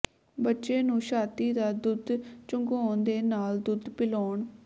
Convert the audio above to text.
ਬੱਚੇ ਨੂੰ ਛਾਤੀ ਦਾ ਦੁੱਧ ਚੁੰਘਾਉਣ ਦੇ ਨਾਲ ਦੁੱਧ ਪਿਲਾਉਣ